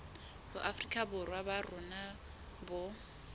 boafrika borwa ba rona bo